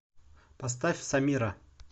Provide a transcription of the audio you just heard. поставь самира